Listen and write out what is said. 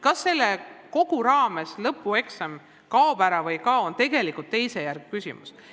Kas selle kõige raames lõpueksam kaob või ei kao, on tegelikult teisejärguline küsimus.